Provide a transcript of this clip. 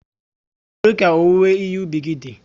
Kedu ka owuwe ìhè ubi gi dị?